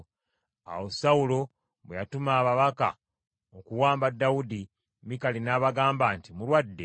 Awo Sawulo bwe yatumayo ababaka okuwamba Dawudi, Mikali n’abagamba nti, “Mulwadde.”